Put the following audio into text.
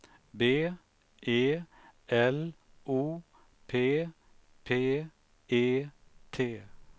B E L O P P E T